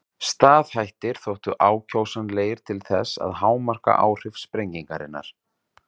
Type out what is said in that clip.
Staðhættir þóttu ákjósanlegir til þess að hámarka áhrif sprengingarinnar.